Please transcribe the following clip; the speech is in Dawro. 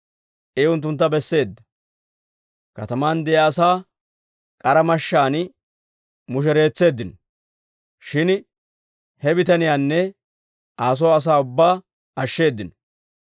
I unttuntta besseedda; kataman de'iyaa asaa k'ara mashshaan mushereetseeddino; shin he bitaniyaanne Aa soo asaa ubbaa ashsheddinno.